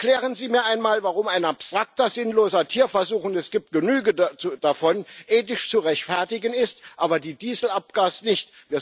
Erklären Sie mir einmal, warum ein abstrakter, sinnloser Tierversuch und es gibt genügend davon ethisch zu rechtfertigen ist, aber die Dieselabgastests nicht.